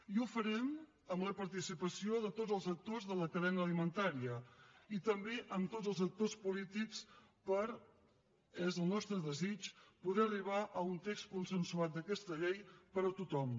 i ho farem amb la participació de tots els actors de la cadena alimentària i també amb tots els actors polítics per és el nostre desig poder arribar a un text consensuat d’aquesta llei per a tothom